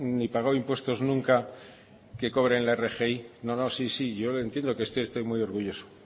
ni pagado impuestos nunca que cobren la rgi no no sí sí yo le entiendo que usted esté muy orgulloso